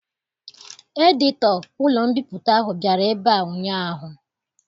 Edito ụlọ mbipụta ahụ bịara ebe a ụnyaahụ